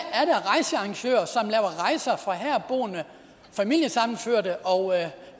er rejser for herboende familiesammenførte og